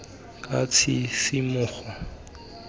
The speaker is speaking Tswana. ka tshisimogo le tlotlo nna